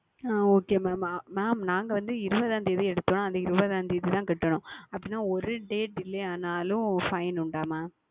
ஆஹ் Okay Mam mam நாங்கள் வந்து இருபதாம் தேதி எடுத்தால் அந்த இருபதாம் தேதி தான் செலுத்த வேண்டும் அப்படி என்றால் ஒரு Date இல்லை என்றாலும் Fine இருக்கிறதா Mam